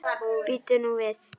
Bíddu nú við.